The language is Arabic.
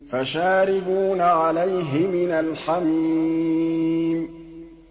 فَشَارِبُونَ عَلَيْهِ مِنَ الْحَمِيمِ